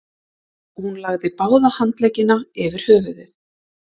Hún lagði báða handleggina yfir höfuðið.